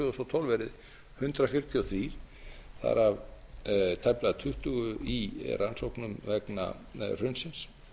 þúsund og tólf verði hundrað fjörutíu og þrjú þar af tæplega tuttugu í rannsóknum vegna hrunsins